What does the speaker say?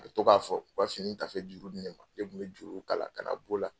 A bɛ to k'a fɔ u ka fini taafe juru di ne ma , ne tun bɛ juru ka na k'o la.